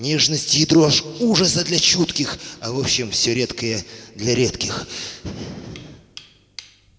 нежности и дрожь ужаса для чутких а в общем всё редкое для редких